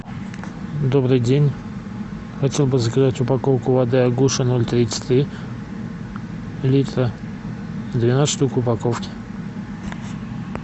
добрый день хотел бы заказать упаковку воды агуша ноль тридцать три литра двенадцать штук в упаковке